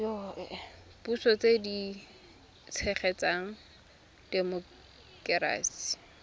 puso tse di tshegetsang temokerasi